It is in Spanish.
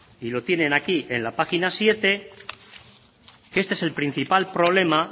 y lo tiene aquí en la página siete este es el principal problema